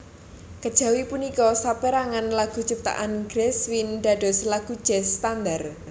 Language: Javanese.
Kejawi punika saperangan lagu ciptaan Gershwin dados lagu jazz standar